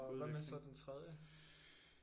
Og hvad med så den tredje